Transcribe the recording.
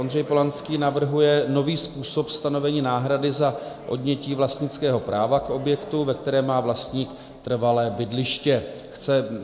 Ondřej Polanský navrhuje nový způsob stanovení náhrady za odnětí vlastnického práva k objektu, ve kterém má vlastník trvalé bydliště.